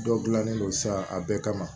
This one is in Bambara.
Dɔ gilannen don sa a bɛɛ kama